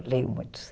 Eu leio muito.